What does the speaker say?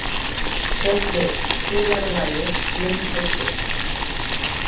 Sörli, spilaðu lagið „Blindfullur“.